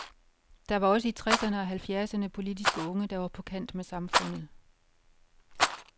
Der var også i tresserne og halvfjerdserne politiske unge, der var på kant med samfundet.